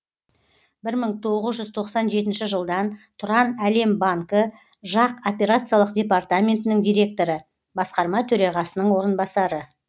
бір мың тоғыз жүз тоқсан жетінші жылдан тұранәлем банкі жақ операциялық департаментінің директоры басқарма төрағасының орынбасары